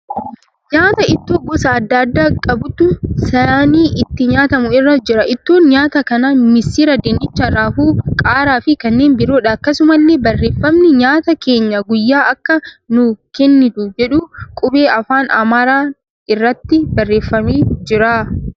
Nyaata ittoo gosa adda addaa qabutu saanii itti nyaatamu irra jira. Ittoon nyaata kanaa misira, dinnicha, raafuu, qaaraa fi kanneen biroodha. Akkasumallee barreeffamni ''nyaata keenya guyyaa akka nu kennitu'' jedhu qubee afaan Amaaraan irratti barreeffamee jira.